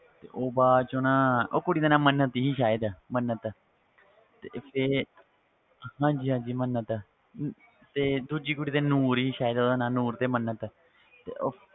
ਤੇ ਉਹ ਬਾਅਦ ਚੋਂ ਨਾ ਉਹ ਕੁੜੀ ਦਾ ਨਾਂ ਮੰਨਤ ਸੀ ਸ਼ਾਇਦ ਮੰਨਤ ਤੇ ਵੀ ਹਾਂਜੀ ਹਾਂਜੀ ਮੰਨਤ ਤੇ ਦੂਜੀ ਕੁੜੀ ਦਾ ਨੂਰ ਸੀ ਸ਼ਾਇਦ ਉਹਦਾ ਨਾਂ ਨੂਰ ਤੇ ਮੰਨਤ ਤੇ ਉਹ,